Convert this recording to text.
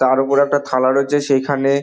তার ওপর একটা থালা রয়েছে সেখানে--